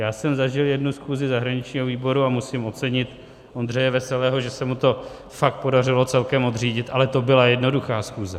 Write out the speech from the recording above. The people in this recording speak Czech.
Já jsem zažil jednu schůzi zahraničního výboru a musím ocenit Ondřeje Veselého, že se mu to fakt podařilo celkem odřídit, ale to byla jednoduchá schůze.